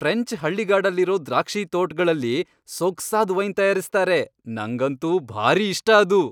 French ಹಳ್ಳಿಗಾಡಲ್ಲಿರೋ ದ್ರಾಕ್ಷಿತೋಟ್ಗಳಲ್ಲಿ ಸೊಗ್ಸಾದ್ ವೈನ್ ತಯಾರಿಸ್ತಾರೆ, ನಂಗಂತೂ ಭಾರೀ ಇಷ್ಟ ಅದು.